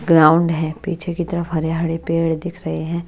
Ground है पीछे की तरफ हरे-हरे पेड़ दिख रहे हैं।